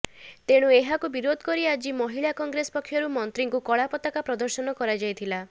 ତେଣୁ ଏହାକୁ ବିରୋଧ କରି ଆଜି ମହିଳା କଂଗ୍ରେସ ପକ୍ଷରୁ ମନ୍ତ୍ରୀଙ୍କୁ କଳାପତାକା ପ୍ରଦର୍ଶନ କରାଯାଇଥିଲା